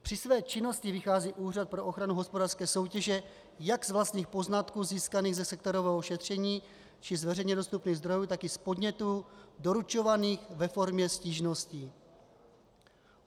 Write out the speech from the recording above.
Při své činnosti vychází Úřad pro ochranu hospodářské soutěže jak z vlastních poznatků získaných ze sektorového šetření či z veřejně dostupných zdrojů, tak i z podnětů doručovaných ve formě stížností.